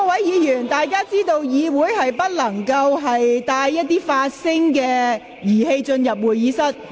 議員應知道，議員不得攜帶任何發聲裝置進入會議廳。